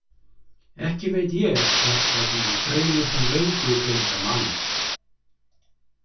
Ekki veit ég hvers vegna mig dreymir þann löngu gleymda mann.